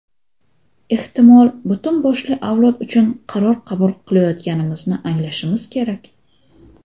ehtimol butun boshli avlod uchun qaror qabul qilayotganimizni anglashimiz kerak.